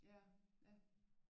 Ja ja